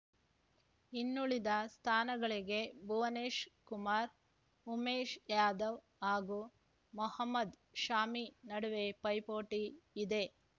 ಇನ್ನುಳಿದ ಸ್ಥಾನಗಳಿಗೆ ಭುವನೇಶ್ ಕುಮಾರ್‌ ಉಮೇಶ್‌ ಯಾದವ್‌ ಹಾಗೂ ಮೊಹಮದ್‌ ಶಾಮಿ ನಡುವೆ ಪೈಪೋಟಿ ಇದೆ